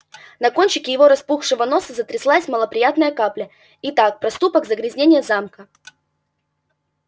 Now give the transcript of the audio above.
на кончике его распухшего носа затряслась малоприятная капля итак проступок загрязнение замка